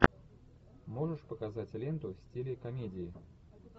можешь показать ленту в стиле комедии